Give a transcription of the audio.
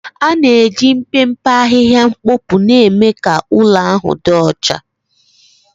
ana-eji mpempe ahịhịa mkpopu na-eme ka ụlọ ahụ dị ọcha.